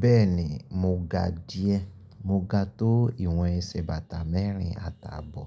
Bẹ́ẹ̀ni, mo ga díẹ̀. Mo ga tó ìwọn ẹsẹ̀ bàtà mẹ́rin àtàbọ̀.